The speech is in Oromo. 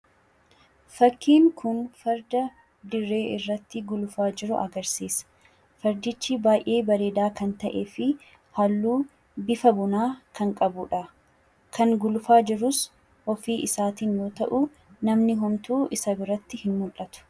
Fakkiin kun farda dirree irratti gulufaa jiru agarsiisa. Fardichi baay'ee bareedaa kan ta'ee fi halluu bifa bunaa kan qabu dha. Kan gulufaa jirus ofii isaatiin yoo ta'u, namni homtuu isa biratti hin mul'atu.